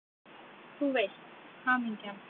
Þú veist: Hamingjan!